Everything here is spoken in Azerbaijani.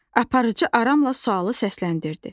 Aparıcı aramla sualı səsləndirdi.